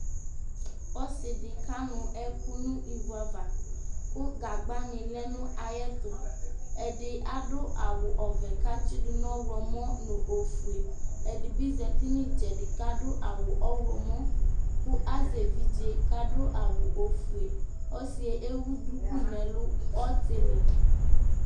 Ɔsɩ dɩ kanʋ ɛkʋ nʋ ivu ava kʋ gagbanɩ lɛ nʋ ayɛtʋ Ɛdɩ adʋ awʋ ɔvɛ kʋ atsɩdʋ ɔɣlɔmɔ nʋ ofue Ɛdɩ bɩ zati nʋ ɩtsɛdɩ kʋ adʋ awʋ ɔɣlɔmɔ kʋ azɛ evidze kʋ adʋ awʋ ofue Ɔsɩ yɛ ewu duku nʋ ɛlʋ ɔtɩlɩ